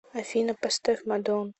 афина поставь мадеон